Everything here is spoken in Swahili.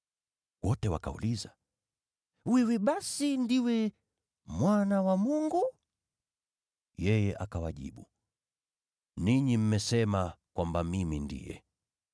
Wote wakauliza, “Wewe basi ndiwe Mwana wa Mungu?” Yeye akawajibu, “Ninyi mwasema kwamba mimi ndiye.”